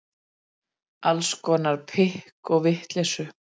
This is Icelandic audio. Alls konar pikk og vitleysu.